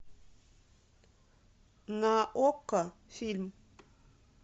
на окко фильм